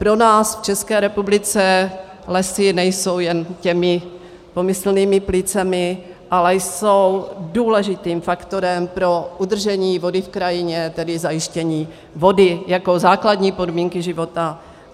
Pro nás v České republice lesy nejsou jen těmi pomyslnými plícemi, ale jsou důležitým faktorem pro udržení vody v krajině, tedy zajištění vody jako základní podmínky života.